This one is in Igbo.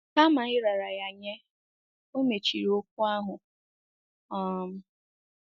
Kama ịrara ya nye, o mechiri okwu ahụ. um